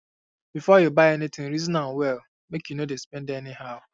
before you buy anything reason am well make you no dey spend anyhow